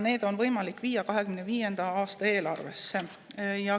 Need on võimalik viia 2025. aasta eelarvesse.